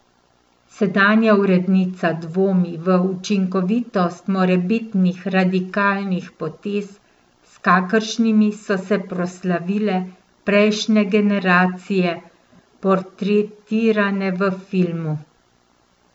Sedanja urednica dvomi v učinkovitost morebitnih radikalnih potez, s kakršnimi so se proslavile prejšnje generacije, portretirane v filmu.